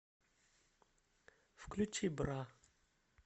включи бра